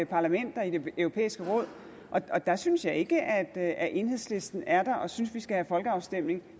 parlamentet og i det europæiske råd og der synes jeg ikke at enhedslisten er der og synes at vi skal have folkeafstemning